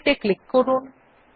OK ত়ে click করন